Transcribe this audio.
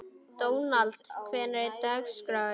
Dónald, hvernig er dagskráin?